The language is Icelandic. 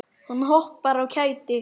Hún hoppar af kæti.